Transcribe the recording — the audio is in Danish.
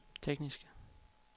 tekniske